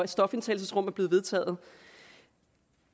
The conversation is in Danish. stofindtagelsesrum er blevet vedtaget